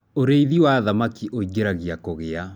ũrĩithi wa thamakĩ uingiragia kugia